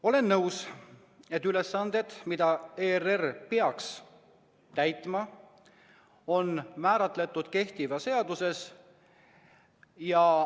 Olen nõus, et ülesanded, mida ERR peaks täitma, on määratud kehtivas seaduses.